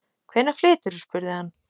Hvenær flyturðu? spurði hann.